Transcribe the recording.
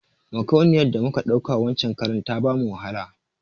Makauniyar da muka ɗauka wancen karan ta bamu wahala